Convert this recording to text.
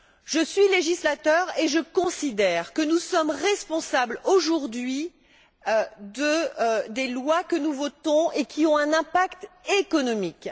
Je suis législateur et je considère que nous sommes responsables, aujourd'hui, des lois que nous votons et qui ont un impact économique.